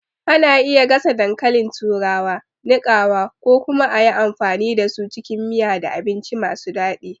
Ana iya gasa dankalin turawa, niƙawa, ko kuma a yi amfani da su cikin miya da abinci masu daɗi.